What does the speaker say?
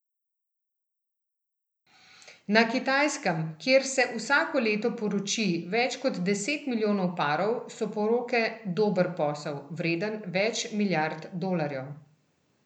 Na Kitajskem, kjer se vsako leto poroči več kot deset milijonov parov, so poroke dober posel, vreden več milijard dolarjev.